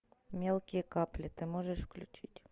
мелкие капли ты можешь включить